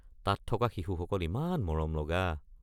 তাত থকা শিশুসকল ইমান মৰম লগা।